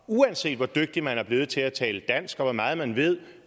uanset hvor dygtig man er blevet til at tale dansk og hvor meget man ved